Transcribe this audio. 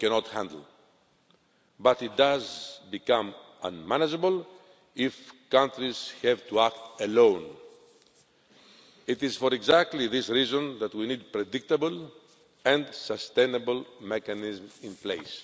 handle, but it does become unmanageable if countries have to act alone. It is for exactly this reason that we need predictable and sustainable mechanisms in place.